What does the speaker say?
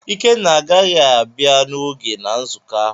Ikenna agaghị abia n’oge na nzụkọ ahụ.